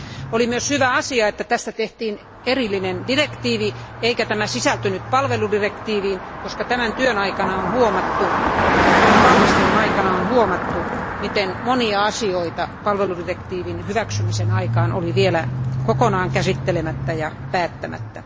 Oli myös hyvä asia, että tästä tehtiin erillinen direktiivi eikä tämä sisältynyt palveludirektiiviin, koska tämän työn ja valmistelun aikana on huomattu, miten monia asioita palveludirektiivin hyväksymisen aikaan oli vielä kokonaan käsittelemättä ja päättämättä.